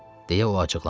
deyə o acıqlandı.